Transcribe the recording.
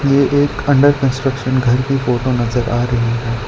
ये एक under construction घर कि फोटो नजर आ रही है।